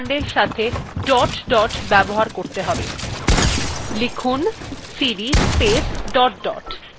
লিখুন cd space dot dot enter টিপুন